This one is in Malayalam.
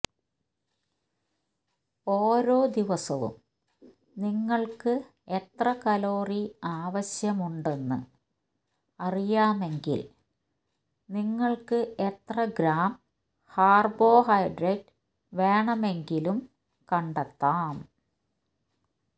ഓരോ ദിവസവും നിങ്ങൾക്ക് എത്ര കലോറി ആവശ്യമുണ്ടെന്ന് അറിയാമെങ്കിൽ നിങ്ങൾക്ക് എത്ര ഗ്രാം കാർബോഹൈഡസ് വേണമെങ്കിലും കണ്ടെത്താം